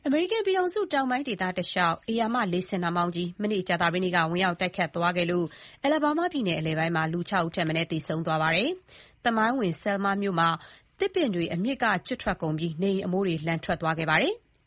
အမေရိကန်ပြည်ထောင်စု တောင်ပိုင်းဒေသတလျှောက် ဧရာမ လေဆင်နှာမောင်းကြီး မနေ့ ကြာသပတေးနေ့က ဝင်ရောက် တိုက်ခတ်သွားခဲ့လို့ Alabama ပြည်နယ် အလယ်ပိုင်းမှာ လူ ၆ ဦးထက်မနည်း သေဆုံးသွားပါတယ်။ သမိုင်းဝင် Selma မြို့မှာ သင်ပင်တွေ အမြစ်က ကျွတ်ထွက်ကုန်ပြီး နေအိမ်အမိုးတွေ လန်သွားခဲ့ပါတယ်။